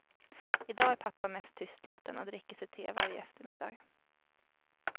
I dag är pappa mest tystlåten och dricker sitt te varje eftermiddag.